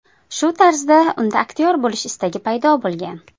Shu tarzda unda aktyor bo‘lish istagi paydo bo‘lgan.